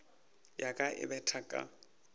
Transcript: ya ka e betha ka